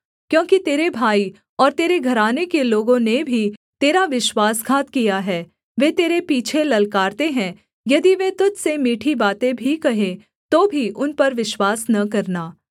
क्योंकि तेरे भाई और तेरे घराने के लोगों ने भी तेरा विश्वासघात किया है वे तेरे पीछे ललकारते हैं यदि वे तुझ से मीठी बातें भी कहें तो भी उन पर विश्वास न करना